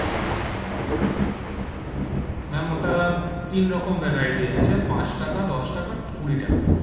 Okay ma'am ma'am ওটা তিন রকম variety আছে পাঁচ টাকা, দশ টাকা, কুড়ি টাকা,